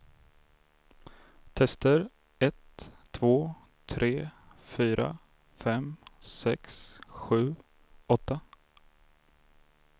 Testar en två tre fyra fem sex sju åtta.